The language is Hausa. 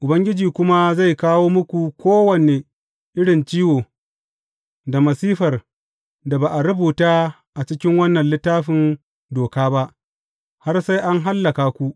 Ubangiji kuma zai kawo muku kowane irin ciwo da masifar da ba a rubuta a cikin wannan Littafin Doka ba, har sai an hallaka ku.